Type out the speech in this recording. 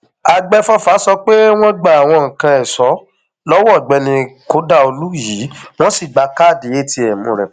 àgbẹfọfà sọ pé wọn gba àwọn nǹkan ẹṣọ lọwọ ọgbẹni kodaolu yìí wọn sì gba káàdì atm rẹ pẹlú